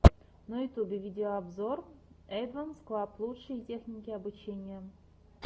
на ютюбе видеообзор эдванс клаб лучшие техники обучения